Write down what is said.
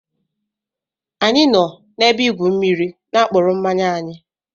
Anyi no na-ebe igwu mmiri n'apkuru mmanya anyi